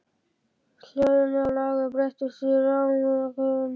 Hljóðin inni á lager breyttust í ramakvein.